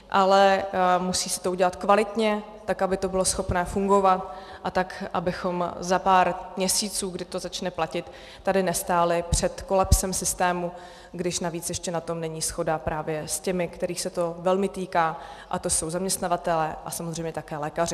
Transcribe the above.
Ale musí se to udělat kvalitně, tak aby to bylo schopné fungovat a tak abychom za pár měsíců, kdy to začne platit, tady nestáli před kolapsem systému, když navíc ještě na tom není shoda právě s těmi, kterých se to velmi týká, a to jsou zaměstnavatelé a samozřejmě také lékaři.